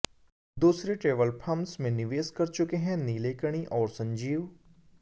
दूसरे travel firms में निवेश कर चुके हैं नीलेकणी और संजीव